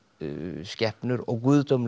skepnur og